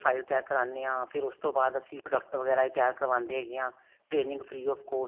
ਖਰਚਾ ਕਰਾਨੇ ਆ ਫ਼ੇਰ ਉਸ ਤੋਂ ਬਾਅਦ ਅਸੀਂ product ਵਗੇਰਾ ਵੀ ਤਿਆਰ ਕਰਵਾਉਂਦੇ ਹੈਗੇ ਹਾਂ training free of cost